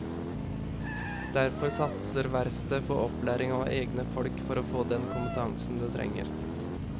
Derfor satser verftet på opplæring av egne folk for å få den kompetansen det trenger.